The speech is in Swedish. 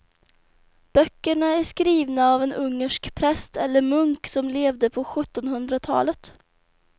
Böckerna är skrivna av en ungersk präst eller munk som levde på sjuttonhundratalet.